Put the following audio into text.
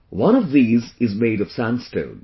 One of these is made of Sandstone